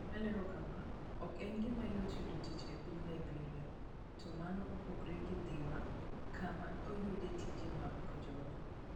Olero kama, "Ok en gima yot yudo tich e piny Liberia, to mano opogore gi Dhiwa kama ayudoe tije mag kojolo.